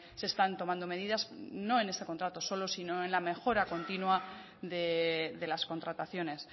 se están tomando medidas no en este contrato solo sino en la mejora continua de las contrataciones